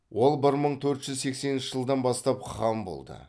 ол бір мың төрт жүз сексенінші жылдан бастап хан болды